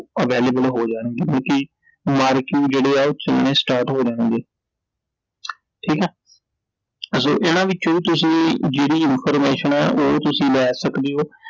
available ਹੋ ਜਾਣਗੇ ਕਿਉਂਕਿ ਮਾਰਕਿੰਗ ਜਿਹੜੇ ਐ ਉਹ start ਹੋ ਜਾਣਗੇ I ਠੀਕ ਐ I ਸੋ ਇਹਨਾਂ ਵਿੱਚੋ ਤੁਸੀਂ ਜਿਹੜੀ information ਐ ਉਹ ਤੁਸੀਂ ਲੈ ਸਕਦੇ ਓ